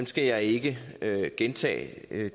skal jeg ikke gentage det